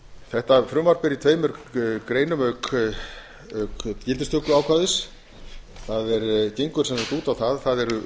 þetta frumvarp er í tveimur greinum auk gildistökuákvæðis það gengur sem sagt út á það að